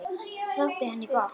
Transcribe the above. Það þótti henni gott.